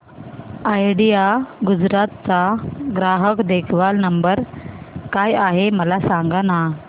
idea Gujarat चा ग्राहक देखभाल नंबर काय आहे मला सांगाना